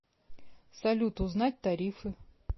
салют узнать тарифы